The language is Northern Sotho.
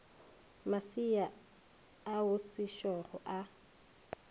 masea ao a sešogo a